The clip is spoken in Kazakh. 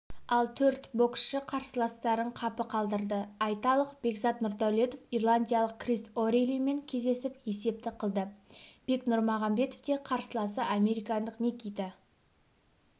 ал төрт боксшы қарсыластарын қапы қалдырды айталық бекзат нұрдәулетов ирландиялық крис орейлимен кездесіп есепті қылды бек нұрмағамбет те қарсыласы американдық никита